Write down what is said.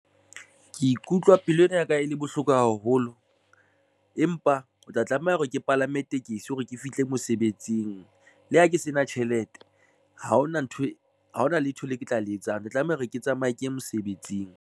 Ke ikutlwa pelo ena ya ka e le bohloko haholo, empa o tla tlameha hore ke palame tekesi hore ke fihle mosebetsing le ha ke se na tjhelete ha hona ntho haona letho le ke tla le etsang ke tlameha hore ke tsamaye ke ye mosebetsing.